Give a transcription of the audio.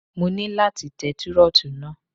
Mo ní láti tẹ Túrọ́tù náà.